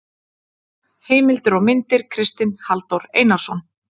Heimildir og myndir: Kristinn Halldór Einarsson.